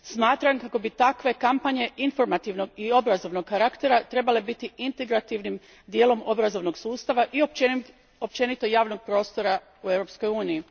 Smatram kako bi takve kampanje informativnog i obrazovnog karaktera trebale biti integrativnim dijelom obrazovnog sustava i općenito javnog prostora u Europskoj uniji.